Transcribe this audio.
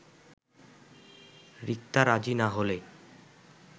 রিক্তা রাজি না হলে